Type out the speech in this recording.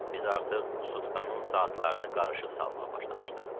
Biz artıq sutkanın saatlarını qarışıq salmağa başlamışdıq.